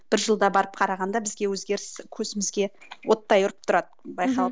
бір жылда барып қарағанда бізге өзгеріс көзімізге оттай ұрып тұрады байқалып